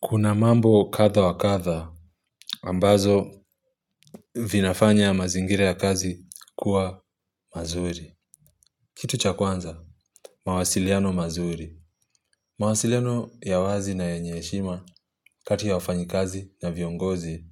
Kuna mambo kadha wa kadha, ambazo vinafanya mazingira ya kazi kuwa mazuri. Kitu cha kwanza, mawasiliano mazuri. Mwasiliano ya wazi na yenyeshima, kati ya wafanyikazi na viongozi,